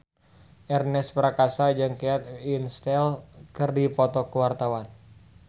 Ernest Prakasa jeung Kate Winslet keur dipoto ku wartawan